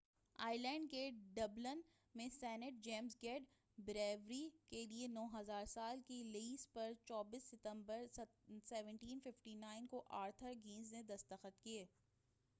Ireland کے Dublin میں saint James gate brewery کیلئے 9،000 سال کے لیز پر 24 ستمبر 1759 کو آرتھر گنیس نے دستخط کیے۔